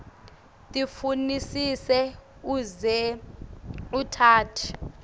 tifunisise uze utati